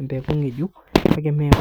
empeku ng'ejuk kake mee ku.